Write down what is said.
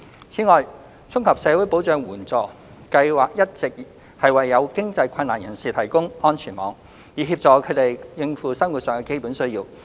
此外，綜合社會保障援助計劃一直為有經濟困難的人士提供安全網，以協助他們應付生活上的基本需要。